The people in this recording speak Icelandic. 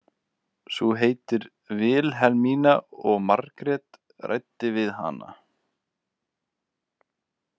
Sú heitir Vilhelmína og Margrét ræddi við hana.